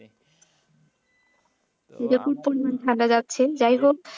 record পরিমাণ পরিমাণ ঠান্ডা যাচ্ছে যাই হোক।